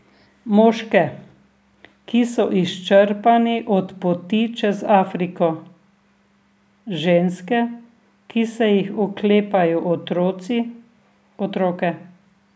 Moške, ki so izčrpani od poti čez Afriko, ženske, ki se jih oklepajo otroci, otroke.